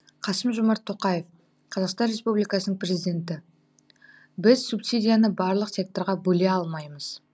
қасым жомарт тоқаев қазақстан республикасының президенті біз субсидияны барлық секторға бөле алмаймыз